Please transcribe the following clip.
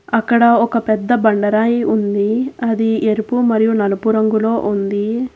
అక్కడ ఒక పెద్ద బండరాయి ఉంది అది ఎరుపు మరియు నలుపు రంగులో ఉంది.